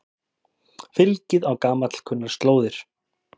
Fylgið á gamalkunnar slóðir